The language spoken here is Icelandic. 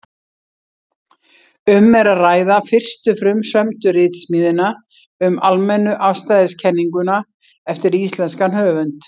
Um er að ræða fyrstu frumsömdu ritsmíðina um almennu afstæðiskenninguna eftir íslenskan höfund.